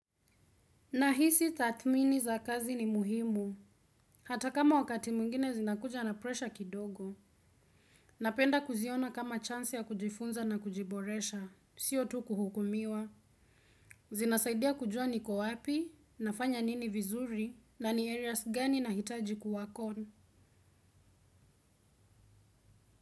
Nahisi tatmini za kazi ni muhimu. Hata kama wakati mungine zinakuja na presha kidogo. Napenda kuziona kama chansi ya kujifunza na kujiboresha. Sio tu kuhukumiwa. Zinasaidia kujua ni kowapi, nafanya nini vizuri, na ni areas gani nahitaji kuwakon.